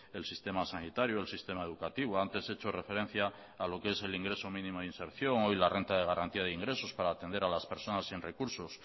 el sistema sanitario el sistema educativo antes he hecho referencia a lo que es el ingreso mínimo de inserción hoy la renta de garantía de ingresos para atender a las personas sin recursos